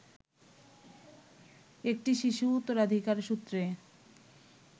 একটি শিশু উত্তরাধিকার সূত্রে